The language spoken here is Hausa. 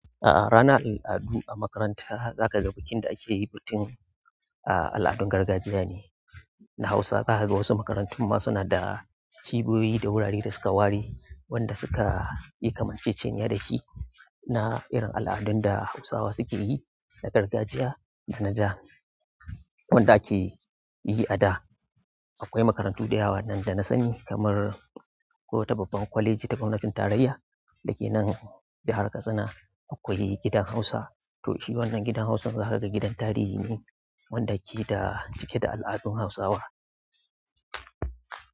A'a, rana al'adu a makaranta za ka ga bikin da ake yi bikin al'adun gargajiya ne na Hausa. Za kaga wasu makarantun ma suna da ciboyi da wurare da suka ware wanda suka yi kamar cece-cenya da shi na irin al'adun da Hausawa suke yi na gargajiya da na jan wanda ake yi a da. Akwai makarantu da yawa waɗanda na sani kamar akwai wata babban kwaleji ta gwamnatin tarayya da ke nan jihar Katsina akwai gidan Hausa. To shi wannan gidan Hausan za ka ga gidan tarihi ne wanda yake da cike da al'adun Hausawa.